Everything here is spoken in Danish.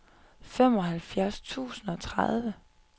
femoghalvfjerds tusind og tredive